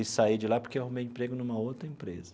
E saí de lá porque arrumei emprego numa outra empresa.